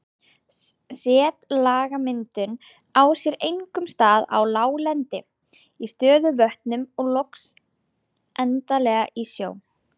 Setlagamyndun á sér einkum stað á láglendi, í stöðuvötnum og loks endanlega í sjó.